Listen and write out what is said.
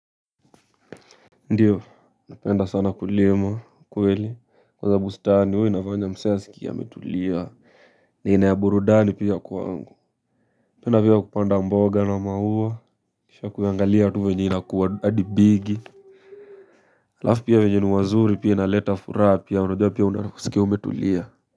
Ndio napenda sana kulima kweli kule bustani huwa inafanya msee asikie ametulia ni aina ya burudani pia kwangu penda pia kupanda mboga na maua kisha kuyaangalia tu venye inakuwa hadi bigi alafu pia wenye ni wazuri pia inaleta furaha pia unajua pia unaanza kusikia umetulia.